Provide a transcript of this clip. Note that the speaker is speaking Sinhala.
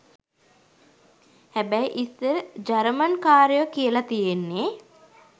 හැබැයි ඉස්සර ජරමන් කාරයෝ කියල තියෙන්නේ